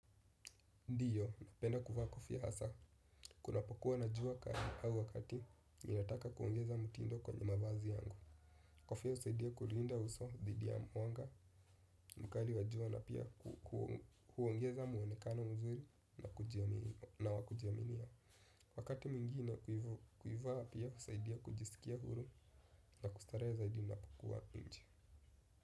Ndiyo, napenda kuvaa kofia hasa, kunapokuwa na jua kali au wakati ninataka kuongeza mtindo kwenye mavazi yangu. Kofia husaidia kulinda uso dhidi ya mwanga mkali wa jua na pia huongeza muonekano mzuri na wakujiaminia. Wakati mwingine kuivaa pia husaidia kujisikia huru na kustare za idina pokuwa nji.